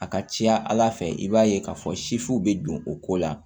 A ka ca ala fɛ i b'a ye k'a fɔ bɛ don o ko la